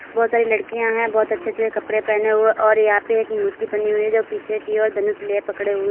बहुत सारी लड़कियां हैं बहुत अच्छे अच्छे कपड़े पहने हुए और यहां पे एक मूर्ति बनी हुई है जो पीछे की ओर धनुष लिए पकड़े हुए--